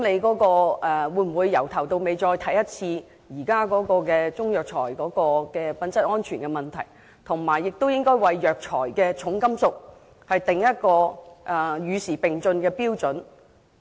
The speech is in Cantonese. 他們會否重新檢視現時中藥材的品質安全問題，以及就藥材的重金屬含量訂定與時並進的標準？